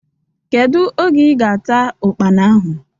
Kedu oge ị ga ata Ụkpana ahụ?